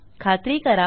खात्री करा